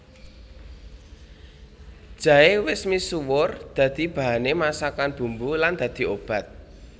Jaé wis misuwur dadi bahané masakan bumbu lan dadi obat